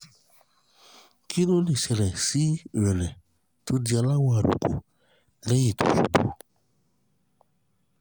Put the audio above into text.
kí ló lè ṣẹlẹ̀ sí ìrẹ́lẹ̀ tó di aláwọ̀ àlùkò lẹ́yìn tí ó ṣubú?